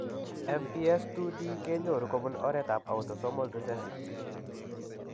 MPS IID kenyoru kobun oret ab autosomal recessive